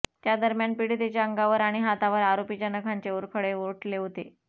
त्यादरम्यान पिडीतेच्या अंगावर आणि हातावर आरोपीच्या नखांचे ओरखडे उठले होते